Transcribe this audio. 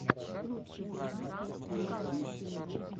лучший выпуск дмитрия кинга